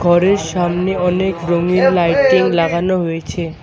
ঘরের সামনে অনেক রঙ্গিন লাইটিং লাগানো হয়েছে।